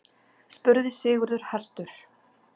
spurði Sigurður hastur.